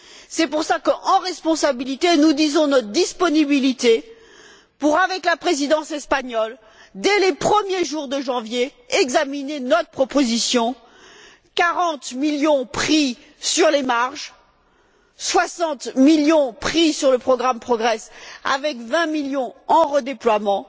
C'est pour cela qu'en responsabilité, nous disons notre disponibilité pour avec la Présidence espagnole dès les premiers jours de janvier, examiner notre proposition quarante millions pris sur les marges, soixante millions pris sur le programme Progress, avec vingt millions en redéploiement,